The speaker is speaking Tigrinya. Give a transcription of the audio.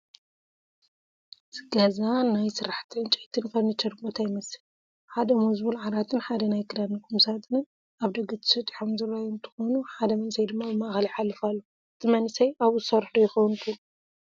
እዚ ገዛ ናይ ስራሕቲ ዕንጨይትን ፈርኒቸር ቦታ ይመስል፡፡ ሓደ ሞዝቡል ዓራትን ሓደ ናይ ክዳን ቁምሳፁንን ኣብ ደገ ተሰጢሖም ዝራኣዩ እንትኾኑ ሓደ መንእሰይ ድማ ብማእኸል ይሓልፍ ኣሎ፡፡ እቲ መንእሰይ ኣብኡ ዝሰርሕ ዶ ይኾን ትብልዎ?